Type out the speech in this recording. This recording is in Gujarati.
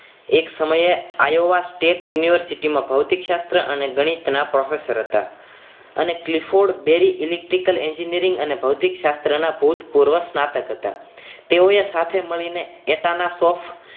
એક સમયે આ yuva space University માં ભૌતિકશાસ્ત્ર અને ગણિતના professor હતા અને ki Ford Berry electric engineering અને ભૌતિક શાસ્ત્ર ના ભૂતપૂર્વક સ્નાતક હતા તેઓએ સાથે મળીને પોતાના શોખ